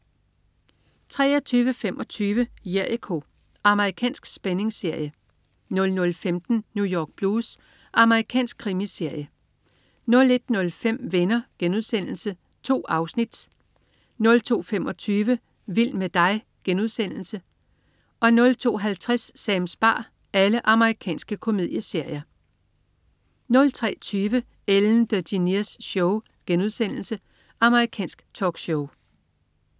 23.25 Jericho. Amerikansk spændingsserie 00.15 New York Blues. Amerikansk krimiserie 01.05 Venner.* 2 afsnit. Amerikansk komedieserie 02.25 Vild med dig.* Amerikansk komedieserie 02.50 Sams bar. Amerikansk komedieserie 03.20 Ellen DeGeneres Show* Amerikansk talkshow